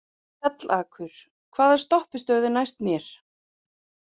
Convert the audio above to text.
Kjallakur, hvaða stoppistöð er næst mér?